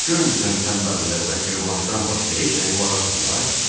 Görmürsən tənbəldirlər və qırmancdan başqa heç nəyə qulaq asmırlar?